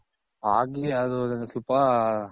ಆಗಿ ಅದು ಸ್ವಲ್ಪ